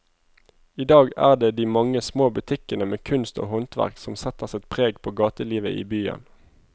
I dag er det de mange små butikkene med kunst og håndverk som setter sitt preg på gatelivet i byen.